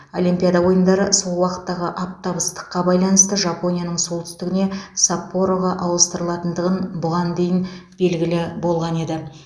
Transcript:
олимпиада ойындары сол уақыттағы аптап ыстыққа байланысты жапонияның солтүстігіне саппороға ауыстырылатындығын бұған дейін белгілі болған еді